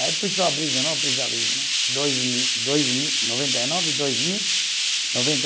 Aí precisa abrir de novo, precisa abrir de novo. Dois mil, dois mil, noventa e nove, dois mil, noventa